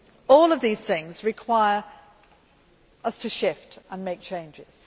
All of these things require us to shift and make changes.